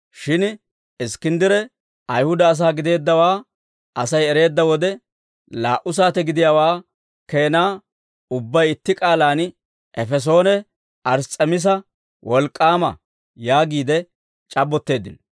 Shin Iskkinddire Ayihuda asaa gideeddawaa Asay ereedda wode, laa"u saate gidiyaawaa keenaa ubbay itti k'aalaan, «Efesoone Ars's'emiisa wolk'k'aama» yaagiide c'abbotteeddino.